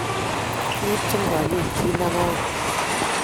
kiibchi konyit kiit ne koyai